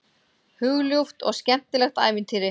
Hugljúft og skemmtilegt ævintýri.